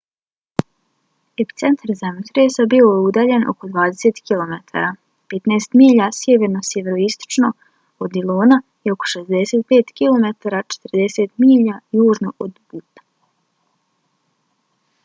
epicentar zemljotresa bio je udaljen oko 20 km 15 milja sjeverno-sjeveroistočno od dillona i oko 65 km 40 milja južno od butta